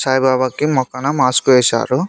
సాయిబాబా కి మొకాన మాస్క్ వేశారు.